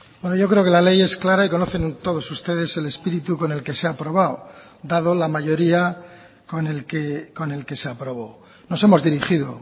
bueno yo creo que la ley es clara y conocen todos ustedes el espíritu con el que se ha aprobado dado la mayoría con el que se aprobó nos hemos dirigido